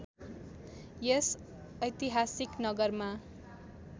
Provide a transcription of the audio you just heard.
यस ऐतिहासिक नगरमा